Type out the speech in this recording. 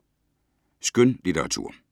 Skønlitteratur